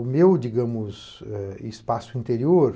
O meu, digamos, espaço interior